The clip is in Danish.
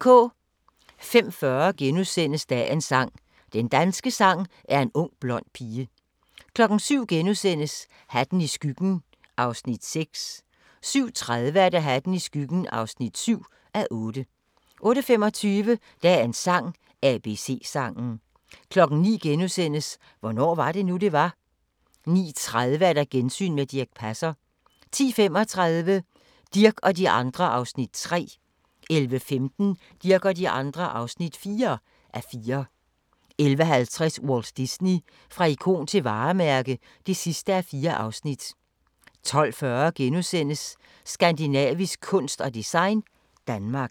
05:40: Dagens sang: Den danske sang er en ung blond pige * 07:00: Hatten i skyggen (6:8)* 07:30: Hatten i skyggen (7:8) 08:25: Dagens sang: ABC-sangen 09:00: Hvornår var det nu, det var? * 09:30: Gensyn med Dirch Passer 10:35: Dirch og de andre (3:4) 11:15: Dirch og de andre (4:4) 11:50: Walt Disney – fra ikon til varemærke (4:4) 12:40: Skandinavisk kunst og design – Danmark *